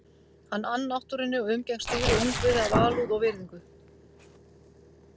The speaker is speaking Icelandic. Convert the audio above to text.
Hann ann náttúrunni og umgengst dýr og ungviði af alúð og virðingu.